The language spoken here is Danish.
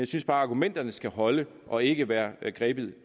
synes bare at argumenterne skal holde og ikke være grebet